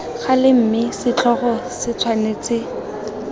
gale mme setlhogo se tshwanetse